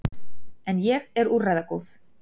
En ég er úrræðagóð.